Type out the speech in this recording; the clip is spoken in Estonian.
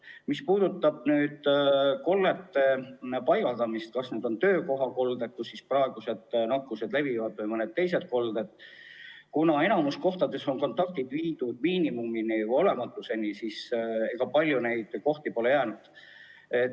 Mis puudutab koldeid – ükskõik kas need on töökohakolded, kus nakkus levib, või mõni teine kolled –, siis kuna enamikus kohtades on kontaktid viidud miinimumini või lausa olematuseni, siis ega palju neid kohti polegi jäänud.